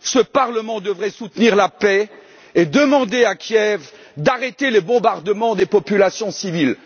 ce parlement devrait soutenir la paix et demander à Kiev d'arrêter les bombardements des populations civiles.